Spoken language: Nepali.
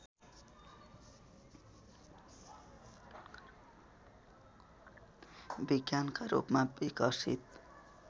विज्ञानका रूपमा विकसित